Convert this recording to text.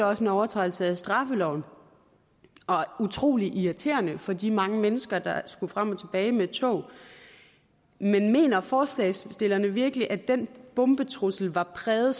også en overtrædelse af straffeloven og utrolig irriterende for de mange mennesker der skulle frem og tilbage med tog men mener forslagsstillerne virkelig at den bombetrussel var præget